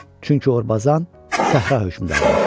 Çünki Orbazan səhra hökmdarıdır.